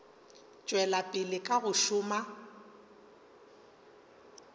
tšwela pele ka go šoma